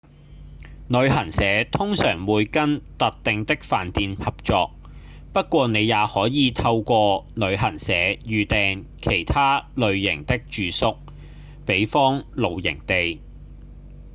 旅行社通常會跟特定的飯店合作不過你也可以透過旅行社預訂其他類型的住宿比方露營地